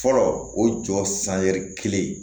Fɔlɔ o jɔ kelen